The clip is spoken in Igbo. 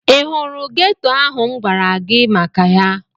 Ị hụrụ geto ahụ m gwara gị maka ya?